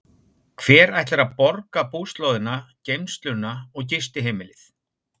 Hver ætlar að borga búslóðina, geymsluna og gistiheimilið?